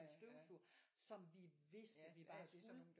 En støvsuger som vi vidste vi bare skulle